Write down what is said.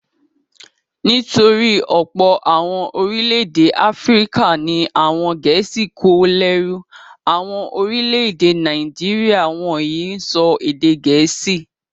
Nítorí ọ̀pọ̀ àwọn orílẹ̀-èdè Áfíríkà ni àwọn Gẹ̀ẹ́sì kó lẹ́rú. Àwọn orílẹ̀-èdè Nàìjíríà wọ̀nyí ń sọ èdè Gẹ̀ẹ́sì.